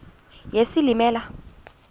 yesilimela